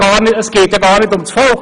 Es geht ja gar nicht um das Volk.